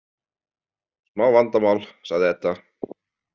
Smá vandamál, sagði Edda.